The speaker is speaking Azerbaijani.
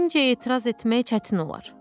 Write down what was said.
zənnimcə etiraz etmək çətin olar.